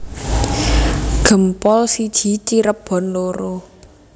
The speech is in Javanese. Gempol siji Cirebon loro